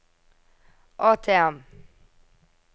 ATM